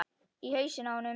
Í hausinn á honum.